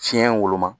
Tiɲɛ woloma